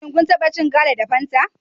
Shin kun taba cin gala da fanta?